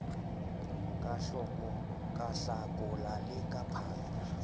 ka hlakola le ka phato